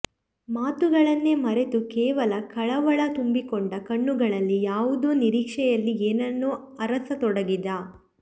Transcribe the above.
ಮಾತುಗಳನ್ನೇ ಮರೆತು ಕೇವಲ ಕಳವಳ ತುಂಬಿಕೊಂಡ ಕಣ್ಣುಗಳಲ್ಲಿ ಯಾವುದೋ ನಿರೀಕ್ಷೆಯಲ್ಲಿ ಏನನ್ನೋ ಅರಸತೊಡಗಿದ